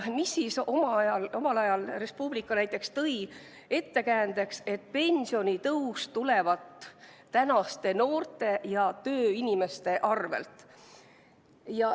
Omal ajal Res Publica näiteks tõi ettekäändeks, et pensionitõus tulevat tänaste noorte ja tööinimeste arvel.